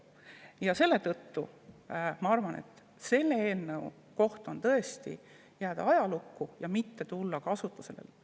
Ja seetõttu ma arvan, et see eelnõu jääma ajalukku ja mitte tulema kasutusele.